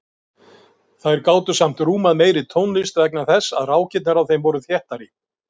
Þær gátu samt rúmað meiri tónlist vegna þess að rákirnar á þeim voru þéttari.